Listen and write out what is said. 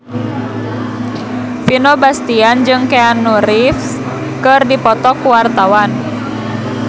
Vino Bastian jeung Keanu Reeves keur dipoto ku wartawan